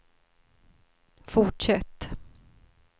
fortsätt